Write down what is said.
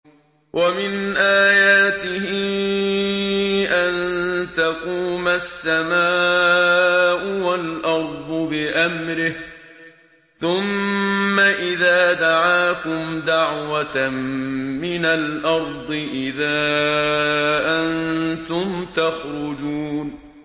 وَمِنْ آيَاتِهِ أَن تَقُومَ السَّمَاءُ وَالْأَرْضُ بِأَمْرِهِ ۚ ثُمَّ إِذَا دَعَاكُمْ دَعْوَةً مِّنَ الْأَرْضِ إِذَا أَنتُمْ تَخْرُجُونَ